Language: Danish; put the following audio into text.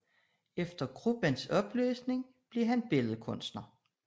Efter gruppens opløsning blev han billedkunstner